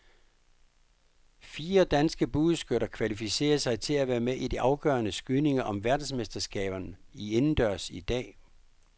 Fire danske bueskytter kvalificerede sig til at være med i de afgørende skydninger om verdensmesterskaberne indendørs i dag.